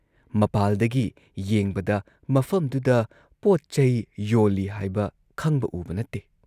ꯃꯄꯥꯥꯜꯗꯒꯤ ꯌꯦꯡꯕꯗ ꯃꯐꯝꯗꯨꯗ ꯄꯣꯠꯆꯩ ꯌꯣꯜꯂꯤ ꯍꯥꯏꯕ ꯈꯪꯕ ꯎꯕ ꯅꯠꯇꯦ ꯫